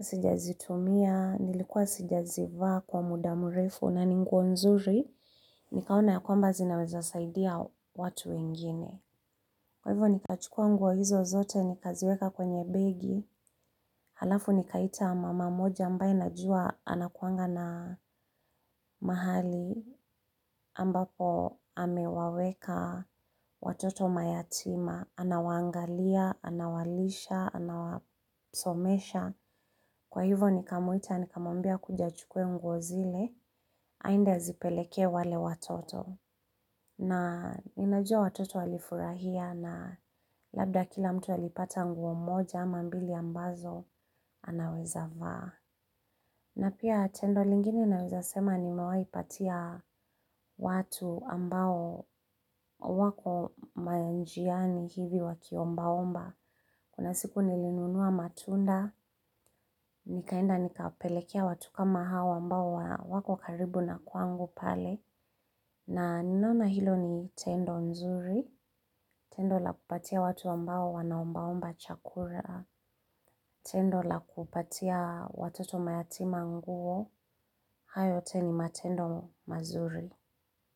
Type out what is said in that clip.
sijazitumia, nilikuwa sijazivaa kwa muda mrefu na ni nguo nzuri, nikaona ya kwamba zinaweza saidia watu wengine. Kwa hivo nikachukua nguo hizo zote nikaziweka kwenye begi, halafu nikaita mama mmoja ambaye najua anakuanga na mahali ambapo amewaweka watoto mayatima, anawaangalia, anawalisha, anawasomesha. Kwa hivo nikamwita nikamwambia akuje achukue nguo zile, aende azipelekee wale watoto, na ninajua watoto walifurahia na labda kila mtu alipata nguo moja ama mbili ambazo anaweza vaa. Na pia tendo lingine naweza sema, nimewahi patia watu ambao wako manjiani hivi wakiombaomba. Kuna siku nilinunua matunda, nikaenda nikapelekea watu kama hawa ambao wako karibu na kwangu pale. Na ninaona hilo ni tendo nzuri, tendo la kupatia watu ambao wanaombaomba chakula, tendo la kupatia watoto mayatima nguo, hayo yote ni matendo mazuri.